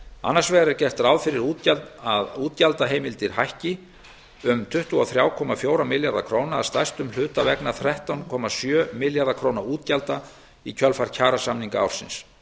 annars vegar er gert ráð fyrir að útgjaldaheimildir hækki um tuttugu og þrjú komma fjóra milljarða króna að stærstum hluta vegna þrettán komma sjö milljarða króna útgjalda í kjölfar kjarasamninga ársins